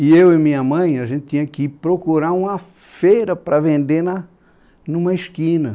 E eu e minha mãe, a gente tinha que ir procurar uma feira para vender na, numa esquina.